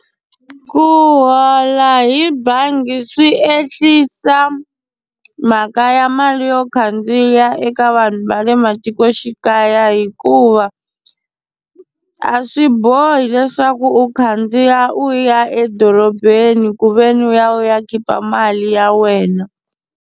Ku hola hi bangi swi ehlisa mhaka ya mali yo khandziya eka vanhu va le matikoxikaya hikuva a swi bohi leswaku u khandziya u ya edorobeni ku ve ni u ya u ya khipa mali ya wena.